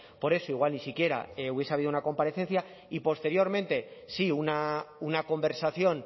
por eso igual ni siquiera hubiese habido una comparecencia y posteriormente sí una conversación